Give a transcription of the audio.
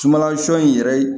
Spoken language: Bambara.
Sumanla sɔ in yɛrɛ